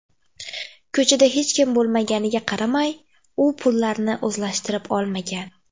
Ko‘chada hech kim bo‘lmaganiga qaramay, u pullarni o‘zlashtirib olmagan.